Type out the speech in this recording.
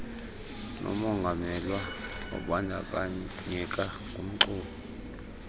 nomonganyelwa obandakanyeka kumxumi